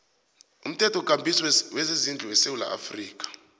umthethokambiso wezezindlu wesewula